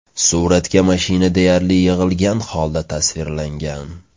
Suratda mashina deyarli yig‘ilgan holda tasvirlangan.